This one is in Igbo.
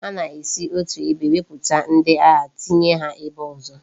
A na esi otu ebe wepu ndi agha tinye ha ebe ozo